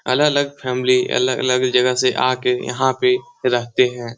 अलग-अलग फ़ैमिली अलग-अलग जगह से आ के यहाँ पे रहते है।